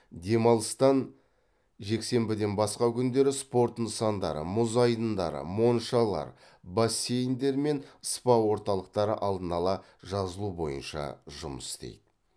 демалыстан жексенбіден басқа күндері спорт нысандары мұз айдындары моншалар бассейндер мен спа орталықтары алдын ала жазылу бойынша жұмыс істейді